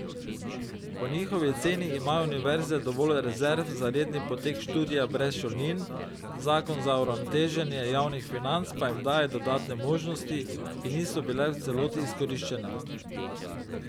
Po njihovi oceni imajo univerze dovolj rezerv za redni potek študija brez šolnin, zakon za uravnoteženje javnih financ pa jim daje dodatne možnosti, ki niso bile v celoti izkoriščene.